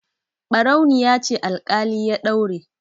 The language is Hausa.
Ɓarauniya ce alƙali ya daure.